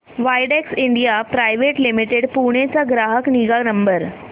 Widex India private limited Pune चा ग्राहक निगा नंबर